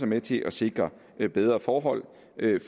med til at sikre bedre forhold